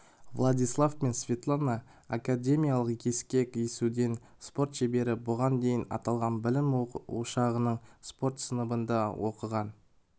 владислав пен светлана академиялық ескек есуден спорт шеберлері бұған дейін аталған білім ошағының спорт сыныбында оқыған